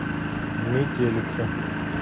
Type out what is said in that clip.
метелица